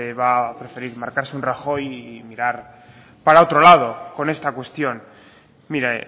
va a preferir marcarse un rajoy y mirar para otro lado con esta cuestión mire